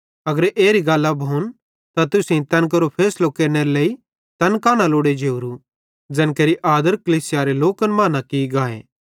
अगर एरी गल्लां भोन त तुसेईं तैन केरो फैसलो केरनेरे लेइ तैन कां न लोड़े जेवरी ज़ैन केरि आदर कलीसियारे लोकन मां न की गाए